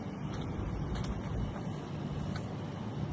Mənim özümün də dostlarım var ki, mənimlə həmişə rəqabət eləyiblər.